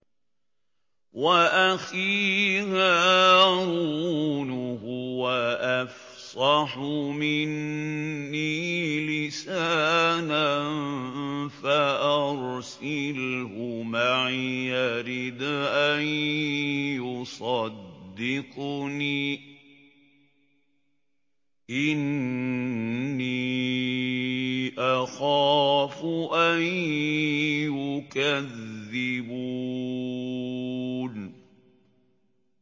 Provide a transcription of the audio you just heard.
وَأَخِي هَارُونُ هُوَ أَفْصَحُ مِنِّي لِسَانًا فَأَرْسِلْهُ مَعِيَ رِدْءًا يُصَدِّقُنِي ۖ إِنِّي أَخَافُ أَن يُكَذِّبُونِ